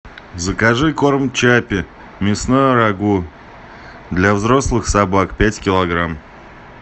закажи корм чаппи мясное рагу для взрослых собак пять килограмм